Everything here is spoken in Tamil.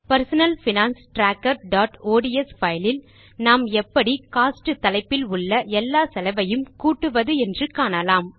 பெர்சனல் பைனான்ஸ் trackerஒட்ஸ் பைல் இல் நாம் எப்படி கோஸ்ட் தலைப்பில் உள்ள எல்லா செலவையும் கூட்டுவது என்று காணலாம்